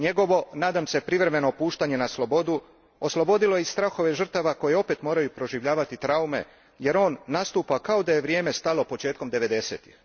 Njegovo, nadam se privremeno, puštanje na slobodu oslobodilo je i strahove žrtava koje opet moraju proživljavati traume jer on nastupa kao da je vrijeme stalo početkom devedesetih.